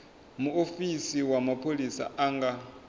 muofisi wa mapholisa a nga